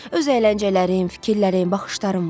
Öz əyləncələrim, fikirlərim, baxışlarım var.